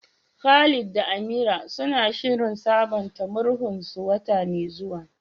Khalid da Amira suna shirin sabunta murhunsu wata mai zuwa.